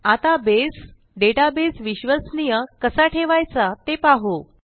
आता बसे डेटाबेस विश्वसनीय कसा ठेवायचा ते पाहू